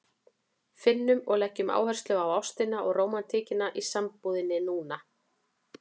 Finnum og leggjum áherslu á ástina og rómantíkina í sambúðinni núna!